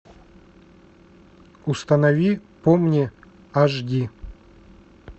установи помни аш ди